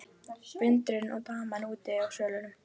Vinurinn og daman úti á svölum.